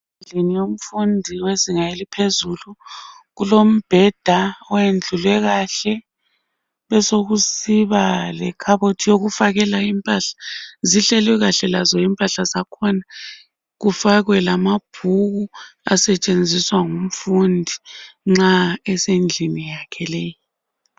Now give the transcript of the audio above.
umfundi wezinga eliphezulu kulombheda oyendlulwe kahle besokusiba lekhabothi yokufakela impahla zihlelwe kahle lazo impahla zakhona kufakwe lamabhuku asetshenziswa ngumfundi nxa esndlini yakhe leyi